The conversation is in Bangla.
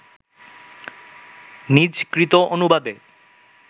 নিজকৃত অনুবাদে